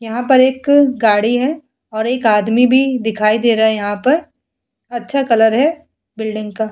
यहाँ पर एक गाड़ी है और एक आदमी भी दिखाई दे रहा है यहाँ पे अच्छा कलर है बिल्डिंग का --